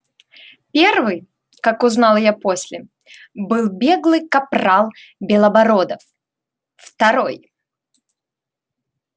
первый как узнал я после был беглый капрал белобородов второй